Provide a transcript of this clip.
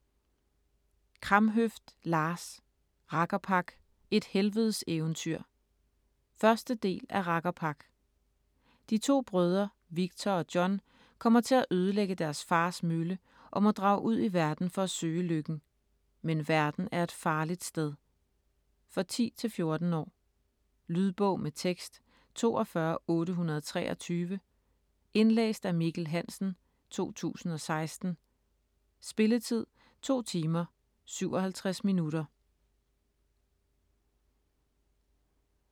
Kramhøft, Lars: Rakkerpak - et helvedes eventyr 1. del af Rakkerpak. De to brødre Viktor og John kommer til at ødelægge deres fars mølle, og må drage ud i verden for at søge lykken. Men verden er et farligt sted. For 10-14 år. Lydbog med tekst 42823 Indlæst af Mikkel Hansen, 2016. Spilletid: 2 timer, 57 minutter.